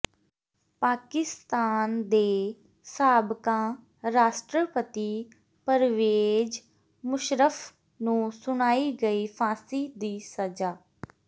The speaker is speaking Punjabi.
ਪਾਕਿਸਤਾਨ ਦੇ ਸਾਬਕਾ ਰਾਸ਼ਟਰਪਤੀ ਪ੍ਰਵੇਜ ਮੁਸ਼ਰੱਫ ਨੂੰ ਸੁਣਾਈ ਗਈ ਫਾਂਸੀਂ ਦੀ ਸਜ਼ਾ